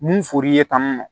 Mun fɔr'i ye tan